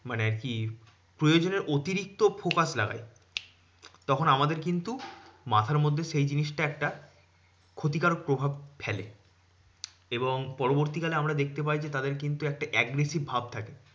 মানে আরকি প্রয়োজনের অতিরিক্ত focus লাগাই। তখন আমাদের কিন্তু মাথার মধ্যে সেই জিনিসটা একটা ক্ষতিকারক প্রভাব ফেলে এবং পরবর্তীকালে আমরা দেখতে পাই যে, তাদের কিন্তু একটা aggressive ভাব থাকে।